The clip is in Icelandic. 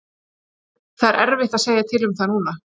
Það er erfitt að segja til um það núna.